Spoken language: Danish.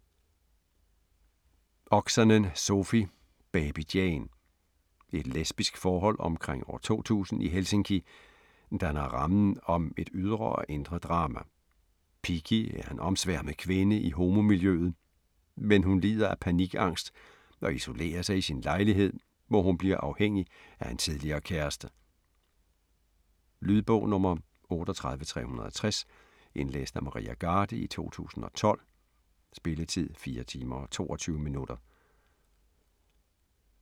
Oksanen, Sofi: Baby Jane Et lesbisk forhold omkring år 2000 i Helsinki danner rammen om et ydre og indre drama. Piki er en omsværmet kvinde i homomiljøet, men hun lider af panikangst og isolerer sig i sin lejlighed, hvor hun bliver afhængig af en tidligere kæreste. Lydbog 38360 Indlæst af Maria Garde, 2012. Spilletid: 4 timer, 22 minutter.